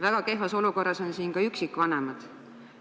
Väga kehvas olukorras on üksikvanemad.